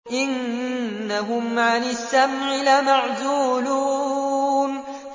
إِنَّهُمْ عَنِ السَّمْعِ لَمَعْزُولُونَ